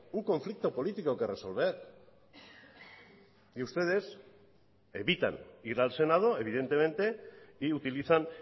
un conflicto político que resolver y ustedes evitan ir al senado evidentemente y utilizan